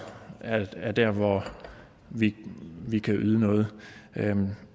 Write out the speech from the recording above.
er er der hvor vi vi kan yde noget